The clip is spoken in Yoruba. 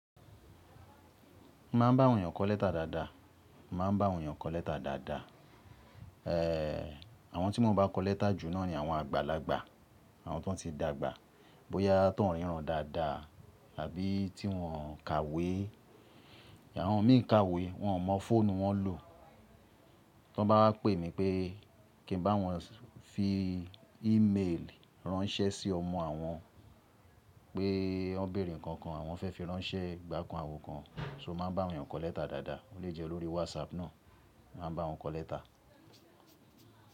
Mo máa ń bá awon èèyàn kọlẹ́ta dáadáa. Àwọn tí mo n bá kọ lẹ́ta jù náà ni àwọn àgbàlagbà, àwọn tó ń ti dàgbà, bóyá tó ń ríran dáadáa àbí tí wọ́n kàwé. Àwọn mí n kàwé, wọn o mọ fóònù wọ́n lò. Tí wọ́n bá wá pè mí pé kí n bá wọn fi ímeèlì ránṣẹ́ sí ọmọ àwọn, pé wọ́n béèrè nǹkan kan àwọn fẹ́ fi ránṣẹ́, igbá kan àwò kan, so mo màá n bá awon èèyàn kọ lẹ́ta dáadáa. O lè jẹ́ lórí WhatsApp náà. Màá bá wọn kọlẹ́ta.